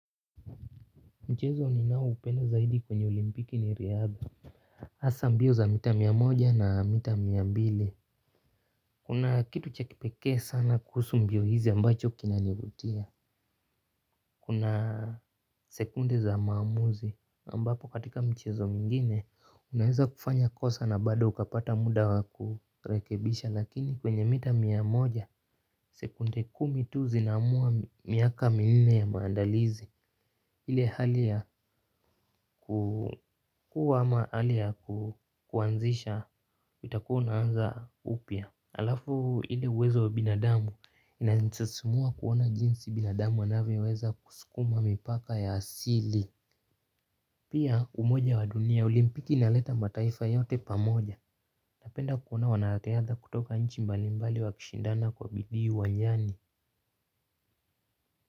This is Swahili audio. Mchezo ninaoupenda zaidi kwenye olimpiki ni riadha hasa mbio za mita mia moja na mita mia mbili. Kuna kitu cha kipekee sana kuhusu mbio hizi ambacho kinanivutia. Kuna sekunde za maamuzi ambapo katika michezo mingine unaweza kufanya kosa na bado ukapata muda wa kurekebisha lakini kwenye mita miamoja sekunde kumi tu zinamua miaka minne ya maandalizi. Hile hali ya kuwa ama hali ya kuanzisha, itakuwa unaanza upya. Alafu hile uwezo wa binadamu, inanisisimua kuona jinsi binadamu anavyoweza kusukuma mipaka ya asili. Pia umoja wa dunia, olimpiki inaleta mataifa yote pamoja. Napenda kuona wanariadha kutoka nchi mbali mbali wakishindana kwa bidii uwanjani.